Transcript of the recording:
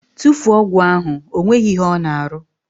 Tufuo ọgwụ ahụ! Ọ nweghị ihe ọ na arụ!